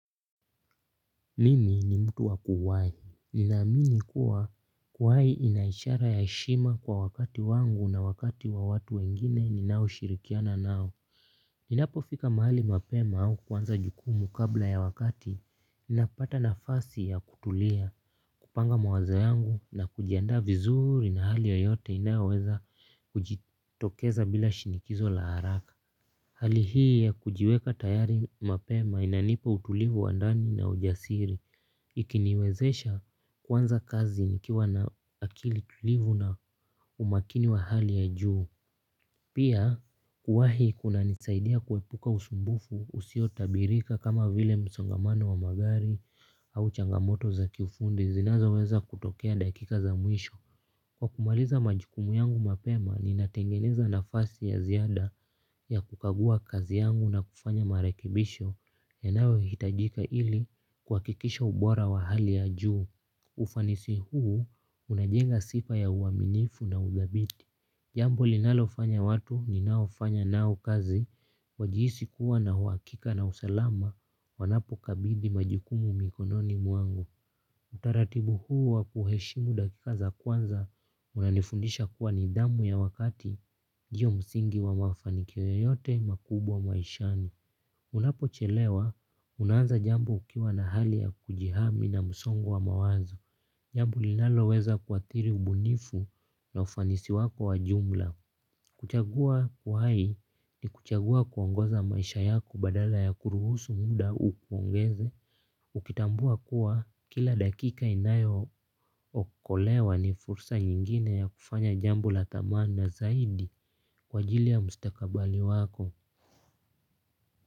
Mimi ni mtu wa kuwahi. Ninaamini kuwa kuwahi ina ishara ya heshima kwa wakati wangu na wakati wa watu wengine ninaoshirikiana nao. Ninapofika mahali mapema au kwanza jukumu kabla ya wakati. Ninapata nafasi ya kutulia, kupanga mawazo yangu na kujiandaa vizuri na hali yoyote inayoweza kujitokeza bila shinikizo la haraka. Hali hii ya kujiweka tayari mapema inanipa utulivu wa ndani na ujasiri ikiniwezesha kuanza kazi nikiwa na akili tulivu na umakini wa hali ya juu. Pia kuwahi kunanisaidia kuepuka usumbufu usiotabirika kama vile msongamano wa magari au changamoto za kiufundi zinazoweza kutokea dakika za mwisho. Kwa kumaliza majukumu yangu mapema, ninatengeneza nafasi ya ziada ya kukagua kazi yangu na kufanya marekebisho yanayohitajika ili kwa kuhakikisha ubora wa hali ya juu. Ufanisi huu, unajenga sifa ya uaminifu na uthabiti. Jambo linalofanya watu ninaofanya nao kazi, wajihisi kuwa na uhakika na usalama wanapokabidhi majukumu mikononi mwangu. Utaratibu huu wa kuheshimu dakika za kwanza unanifundisha kuwa ni zamu ya wakati hiyo msingi wa mafanikio yoyote makubwa maishani. Unapochelewa unaanza jambo ukiwa na hali ya kujihami na msongo wa mawazo. Jambo linaloweza kuathiri ubunifu na ufanisi wako wa jumla. Kuchagua uhai ni kuchagua kuongoza maisha yako badala ya kuruhusu muda uongeze. Ukitambua kuwa kila dakika inayookolewa ni fursa nyingine ya kufanya jambo la dhamana zaidi kwa ajili ya mustakabali wako.